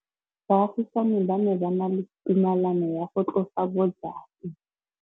Baagisani ba ne ba na le tumalanô ya go tlosa bojang.